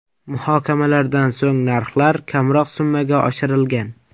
Muhokamalardan so‘ng narxlar kamroq summaga oshirilgan.